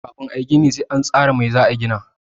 Kafin a yi gini sai an tsara mai za a gina.